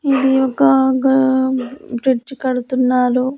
ఇది ఒక గా బ్రిడ్జ్ కడుతున్నారు.